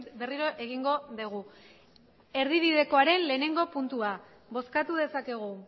berriro egingo dugu erdibidekoaren lehenengo puntua bozkatu dezakegu